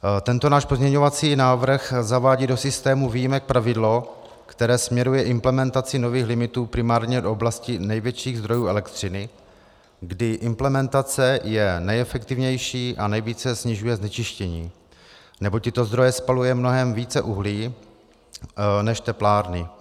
Tento náš pozměňovací návrh zavádí do systému výjimek pravidlo, které směruje implementaci nových limitů primárně do oblasti největších zdrojů elektřiny, kdy implementace je nejefektivnější a nejvíce snižuje znečištění, neboť tyto zdroje spalují mnohem více uhlí než teplárny.